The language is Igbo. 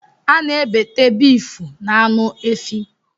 Ana ebete beeefu na aṅụ efi.